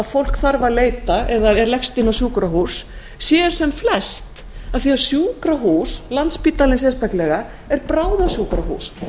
fólk þarf að leita eða leggst inn á sjúkrahús séu sem flest því sjúkrahús landspítalinn sérstaklega er bráðasjúkrahús